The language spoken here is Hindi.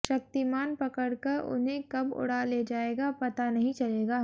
शक्तिमान पकड़कर उन्हें कब उड़ा ले जाएगा पता नहीं चलेगा